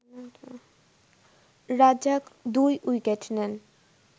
Razzak ২ wicket নেন